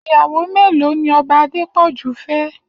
Iyàwó méló ni Òbá Adepoju fè?